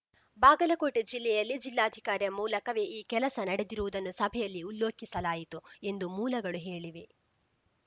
ಬಾಗಲಕೋಟೆ ಜಿಲ್ಲೆಯಲ್ಲಿ ಜಿಲ್ಲಾಧಿಕಾರಿ ಮೂಲಕವೇ ಈ ಕೆಲಸ ನಡೆದಿರುವುದನ್ನು ಸಭೆಯಲ್ಲಿ ಉಲ್ಲೋಖಿಸಲಾಯಿತು ಎಂದು ಮೂಲಗಳು ಹೇಳಿವೆ